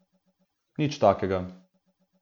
Nič takega.